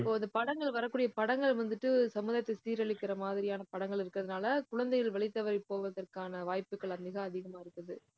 இப்ப வந்து படங்கள் வரக்கூடிய படங்கள் வந்துட்டு, சமுதாயத்தை சீரழிக்கிற மாதிரியான படங்கள் இருக்கிறதுனால குழந்தைகள் வழி தவறி போவதற்கான வாய்ப்புகள் வந்து தான் அதிகமா இருக்குது